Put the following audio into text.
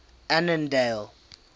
annandale